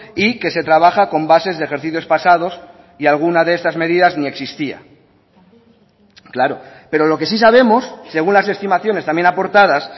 y que se trabaja con bases de ejercicios pasados y alguna de estas medidas ni existía claro pero lo que sí sabemos según las estimaciones también aportadas